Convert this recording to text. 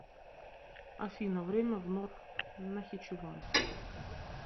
афина время в нор нахичеван